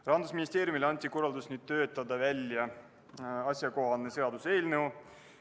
Rahandusministeeriumile anti korraldus töötada välja asjakohane seaduseelnõu.